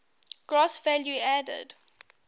gross value added